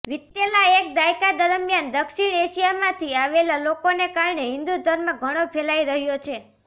વિતેલા એક દાયકા દરમિયાન દક્ષિણ એશિયામાંથી આવેલા લોકોને કારણે હિન્દૂ ધર્મ ઘણો ફેલાઈ રહ્યો છે